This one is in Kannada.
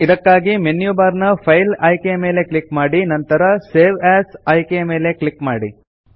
ಇದಕ್ಕಾಗಿ ಮೆನ್ಯು ಬಾರ್ ನ ಫೈಲ್ ಆಯ್ಕೆಯ ಮೇಲೆ ಕ್ಲಿಕ್ ಮಾಡಿ ನಂತರ ಸೇವ್ ಎಎಸ್ ಆಯ್ಕೆಯ ಮೇಲೆ ಕ್ಲಿಕ್ ಮಾಡಿ